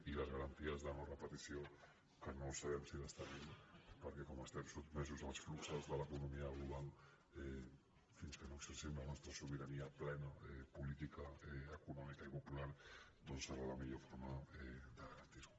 i les garanties de no·repetició que no sabem si les tenim perquè com que estem sotmesos als fluxos de l’economia global fins que no exercim la nostra sobirania plena política econòmica i popular doncs serà la millor forma de garantir·ho